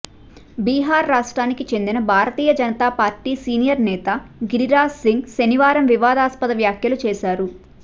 బీహార్ రాష్ట్రానికి చెందిన Bharatiya Janata Party senior నేత గిరిరాజ్ సింగ్ శనివారం వివాదాస్పద వ్యాఖ్యలు చేశారు